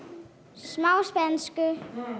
smá spænsku